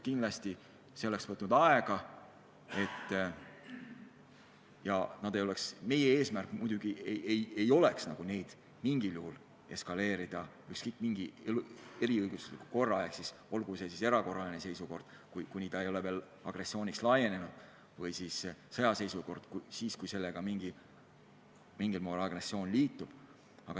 Kindlasti kõik see oleks võtnud aega ja meie eesmärk muidugi oleks olnud mitte mingil juhul lasta sündmustel eskaleeruda ja kasutada selleks mingit eriõiguslikku korda, olgu see siis erakorraline seisukord, kui kriis ei ole veel agressiooniks laienenud, või siis sõjaseisukord, kui tegu on mingil moel agressiooniga.